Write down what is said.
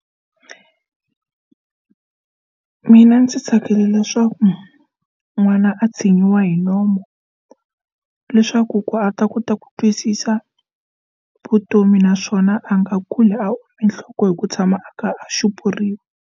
Mina ndzi tsakela leswaku n'wana a tshinyiwa hi nomu leswaku ku a ta kota ku twisisa vutomi naswona a nga kuli ome nhloko hi ku tshama a kha a xupuriwa.